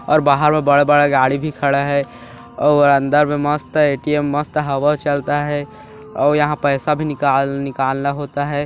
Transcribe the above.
--और बाहर मे बड़ा बड़ा गाड़ी भी खड़ा है और अंदर मे मस्त है ए_टी_एम मस्त हवा चलता है और यहाँ पैसा भी निकाल निकालना होता है।